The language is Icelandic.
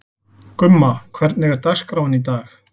Gumma, hvernig er dagskráin í dag?